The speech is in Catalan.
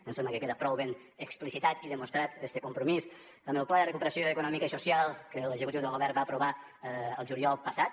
ens sembla que queda prou ben explicitat i demostrat este compromís amb el pla de recuperació econòmica i social que l’executiu del govern va aprovar el juliol passat